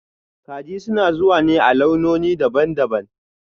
Kaji suna zuwa ne a launoni daban-daban